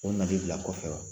O nali de bila kɔfɛ wa?